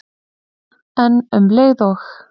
En um leið og